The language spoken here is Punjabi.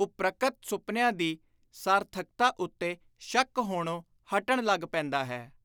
ਉਪ੍ਰਕਤ ਸੁਪਨਿਆਂ ਦੀ ਸਾਰਥਕਤਾ ਉੱਤੇ ਸ਼ੱਕ ਹੋਣੋਂ ਹਟਣ ਲੱਗ ਪੈਂਦਾ ਹੈ।